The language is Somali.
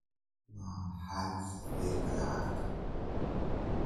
waa maxay sarifka lacagtu?